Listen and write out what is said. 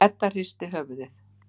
Edda hristi höfuðið.